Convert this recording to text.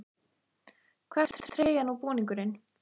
Hvar fæst treyjan og búningurinn?